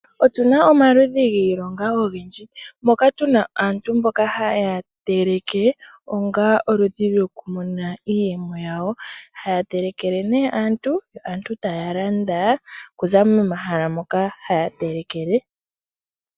Otuna omaludhi giilonga ogendji moka tuna aantu mboka haya teleke onga oludhi lwokumona iiyemo yawo, haya telekele nee aantu yo aantu taya landa kuza momahala moka haya telekele.